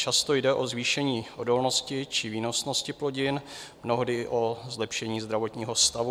Často jde o zvýšení odolnosti či výnosnosti plodin, mnohdy o zlepšení zdravotního stavu.